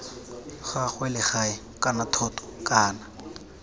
gagwe legae kana thoto kana